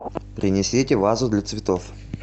принесите вазу для цветов